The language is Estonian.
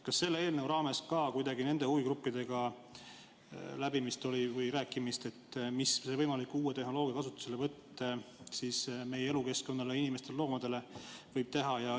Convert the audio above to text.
Kas selle eelnõu raames ka oli nende huvigruppidega läbimist või rääkimist sellest, mida võimalik uue tehnoloogia kasutuselevõtt meie elukeskkonnale, inimestele või loomadele võib teha?